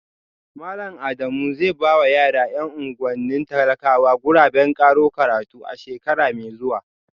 Malam Adamu zai ba wa yara ‘yan unguwannin talakawa guraben karo karatu a shekara mai zuwa